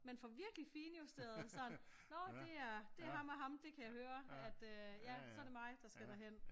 Man får virkelig finjusteret sådan når det er ham og ham det kan jeg høre at øh ja så er det mig der skal der hen